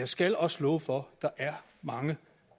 skal også love for der er mange